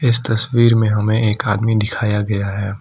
इस तस्वीर में हमें एक आदमी दिखाया गया है।